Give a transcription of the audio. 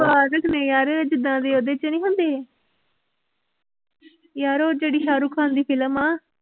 ਵਾਲ ਰੱਖਣੇ ਯਾਰ ਜਿੱਦਾਂ ਦੇ ਉਹਦੇ ਚ ਨੀ ਹੁੰਦੇ ਯਾਰ ਉਹ ਜਿਹੜੀ ਸਾਹਰੁਖ ਖਾਨ ਦੀ film ਆਂ